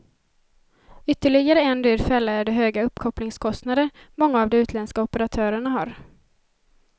Ytterligare en dyr fälla är de höga uppkopplingskostnader många av de utländska operatörerna har.